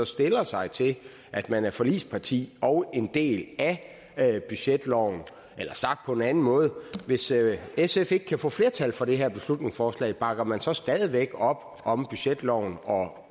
stiller sig til at man er forligsparti og en del af budgetloven sagt på en anden måde hvis sf ikke kan få flertal for det her beslutningsforslag bakker man så stadig væk op om budgetloven og